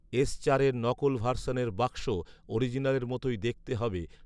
S চারের নকল ভার্সনের বাক্স অরিজিনালের মতই দেখতে হবে